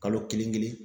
Kalo kelen kelen